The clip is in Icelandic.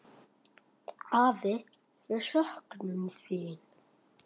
Afi, við söknum þín.